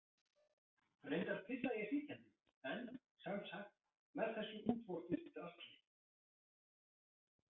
Reyndar pissa ég sitjandi en sem sagt með þessu útvortis drasli.